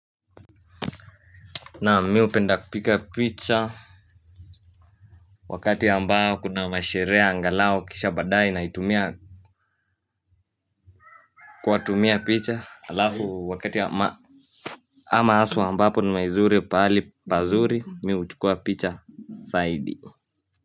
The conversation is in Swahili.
Naam mi hupenda kupiga picha wakati ambayo kuna masherehe angalau kisha baadaye naitumia kuwatumia picha alafu wakati ama ama hustle ambapo ni maizuri pali pazuri mi huchukua picha zaidi.